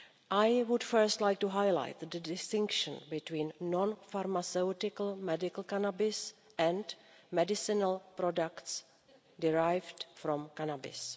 I would first like to highlight the distinction between non-pharmaceutical medical cannabis and medicinal products derived from cannabis.